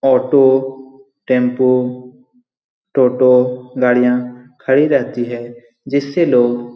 auto tempo toto गाड़ियाँ खड़ी रहती हैं जिससे लोग --